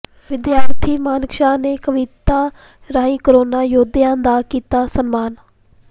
ਵਿਦਿਆਰਥੀ ਮਾਨਕ ਸ਼ਾਹ ਨੇ ਕਵਿਤਾ ਰਾਹੀਂ ਕਰੋਨਾ ਯੋਧਿਆਂ ਦਾ ਕੀਤਾ ਸਨਮਾਨ